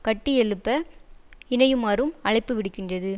கட்டியெழுப்ப இணையுமாறும் அழைப்பு விடுக்கின்றது